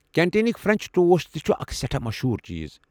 كینٹینكۍ French toast تہِ چھُ اکھ سٮ۪ٹھاہ مٔشہوٗر چیٖز۔